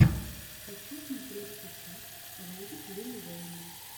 хочу смотреть сейчас ролик лил вэйна